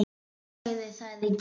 Þú sagðir það í gær.